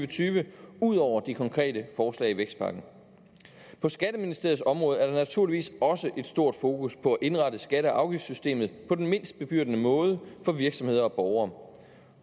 tyve ud over de konkrete forslag i vækstpakken på skatteministeriets område er der naturligvis også et stort fokus på at indrette skatte og afgiftssystemet på den mindst bebyrdende måde for virksomheder og borgere